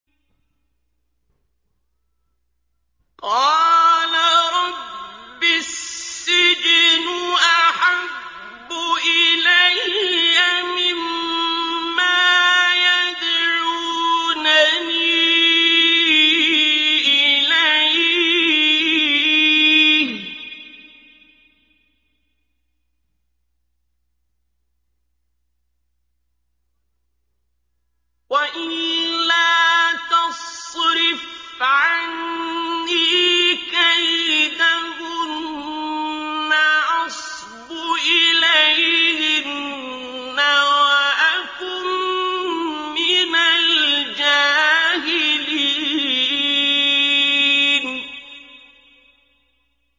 قَالَ رَبِّ السِّجْنُ أَحَبُّ إِلَيَّ مِمَّا يَدْعُونَنِي إِلَيْهِ ۖ وَإِلَّا تَصْرِفْ عَنِّي كَيْدَهُنَّ أَصْبُ إِلَيْهِنَّ وَأَكُن مِّنَ الْجَاهِلِينَ